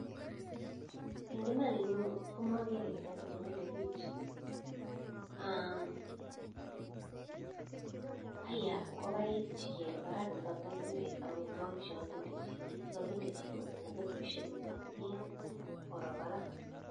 Eng imaan nyuu makeree kiit nee milee bich ayaa ingokaik che kere parak nee katakeree amitwokik che kakindachii mkeboshek ak pee koroo parak